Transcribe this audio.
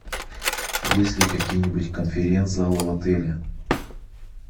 есть ли какие нибудь конференц залы в отеле